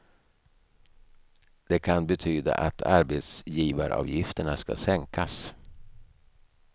Det kan betyda att arbetsgivaravgifterna ska sänkas.